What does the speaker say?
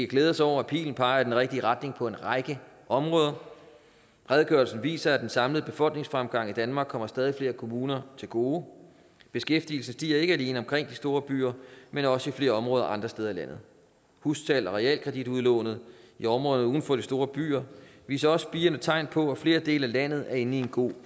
glæde os over at pilen peger i den rigtige retning på en række områder redegørelsen viser at den samlede befolkningsfremgang i danmark kommer stadig flere kommuner til gode beskæftigelsen stiger ikke alene omkring de store byer men også i flere områder andre steder i landet hussalg og realkreditudlånet i områderne uden for de store byer viser også spirende tegn på at flere dele af landet er inde i en god